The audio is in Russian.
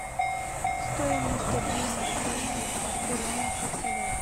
стоимость обмена кроны в перуанских солях